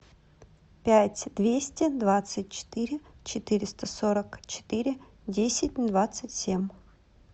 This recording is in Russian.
пять двести двадцать четыре четыреста сорок четыре десять двадцать семь